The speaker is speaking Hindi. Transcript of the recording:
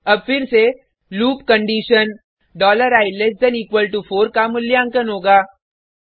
अब फिर से लूप कंडिशन i4 का मूल्यांकन होगा